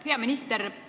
Hea minister!